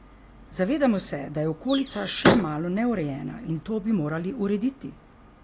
Zavedamo se, da je okolica še malo neurejena, in to bi morali urediti.